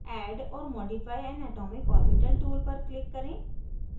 add or modify an atomic orbital tool पर click करें